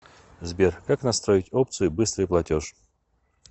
сбер как настроить опцию быстрый платеж